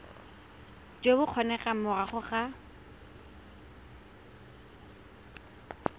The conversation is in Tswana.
jo bo kgonegang morago ga